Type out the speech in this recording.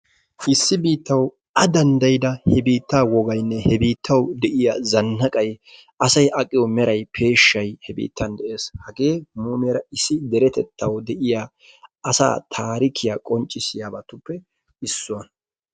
issi biittaw a danddayyida he biitta wogaynne he biittaw de'iya zannaqay asay aqqiyo meray peeshshay he biittan de'ees. hagee mumeera issi deretettaaw de'iyaa asaa taarikya qonccissiyabatuppe issuwaa.